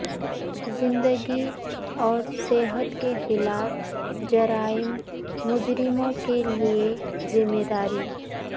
زندگی اور صحت کے خلاف جرائم مجرموں کے لئے ذمہ داری